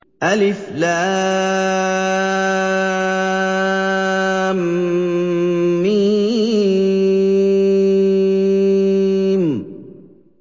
الم